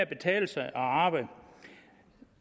betale sig at arbejde